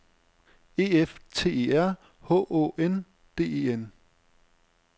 E F T E R H Å N D E N